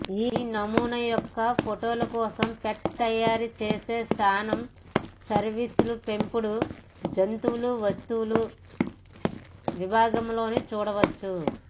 ఈ నమూనా యొక్క ఫోటోలు కోసం పెట్ తాయారు చేసే స్థానం సర్వీసులు పెంపుడు జంతువులు వస్తువుల విభాగాలలోని చూడవచ్చు